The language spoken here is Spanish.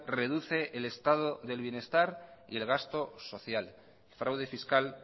reduce el estado del bienestar y el gasto social el fraude fiscal